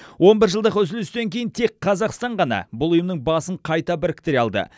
он бір жылдық үзілістен кейін тек қазақстан ғана бұл ұйымның басын қайта біріктіре алды